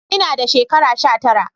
Ina da shekara sha tara